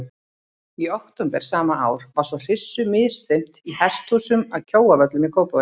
Í október sama ár var svo hryssu misþyrmt í hesthúsum að Kjóavöllum í Kópavogi.